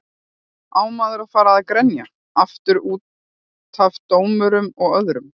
Á maður að fara að grenja aftur útaf dómurum og öðru?